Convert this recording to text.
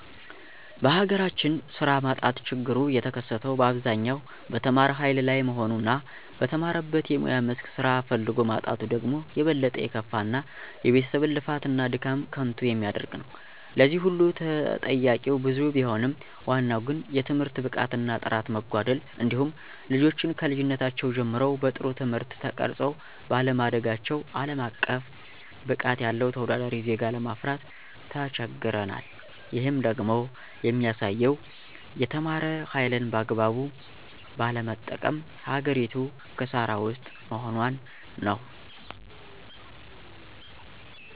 በሀገራችን ስራ ማጣት ችግሩ የተከሰተው በአብዛኛው በተማረ ሀይል ላይ መሆኑ እና በተማረበት የሙያ መስክ ስራ ፈልጎ ማጣቱ ደግሞ የበለጠ የከፋ እና የቤተሰብን ልፋት እና ድካም ከንቱ የሚያደርግ ነው። ለዚህ ሁሉ ተጠያቂዉ ብዙ ቢሆንም ዋናው ግን የትምህርት ብቃት እና ጥራት መጓደል እንዲሁም ልጆችን ከልጅነታቸው ጀምረው በጥሩ ትምህርት ተቀርፀው ባለማደጋቸው አለም አቀፍ ብቃት ያለው ተወዳዳሪ ዜጋ ለማፍራት ተቸግረናል። ይህም ደግሞ የሚያሳየው የተማረ ሀይልን በአግባቡ ባለመጠቀም ሀገሪቱ ክሳራ ውስጥ መሆኗን ነው።